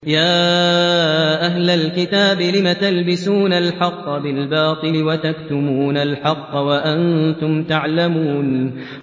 يَا أَهْلَ الْكِتَابِ لِمَ تَلْبِسُونَ الْحَقَّ بِالْبَاطِلِ وَتَكْتُمُونَ الْحَقَّ وَأَنتُمْ تَعْلَمُونَ